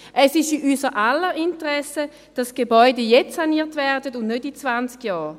Es ist in unser aller Interesse, dass die Gebäude jetzt saniert werden und nicht in zwanzig Jahren.